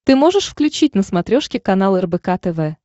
ты можешь включить на смотрешке канал рбк тв